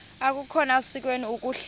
akukhona sikweni ukuhlala